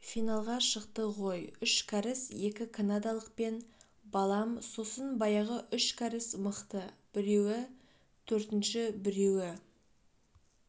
финалға шықты ғой үш кәріс екі канадалықпен балам сосын баяғы үш кәріс мықты біреуі төртінші біреуі